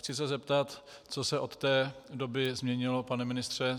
Chci se zeptat, co se o té doby změnilo, pane ministře.